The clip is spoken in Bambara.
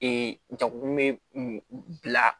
Ee jagokun bɛ bila